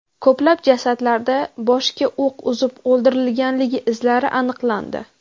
Ko‘plab jasadlarda boshga o‘q uzib o‘ldirilganligi izlari aniqlandi.